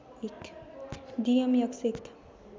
डि M X एक